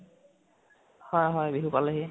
হয় হয় বিহু পালেহি